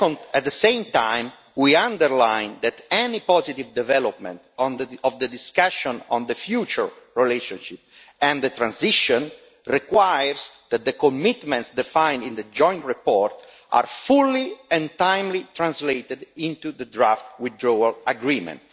At the same time, we underline that any positive development of the discussion on the future relationship and the transition requires that the commitments defined in the joint report be translated fully and in a timely manner into the draft withdrawal agreement.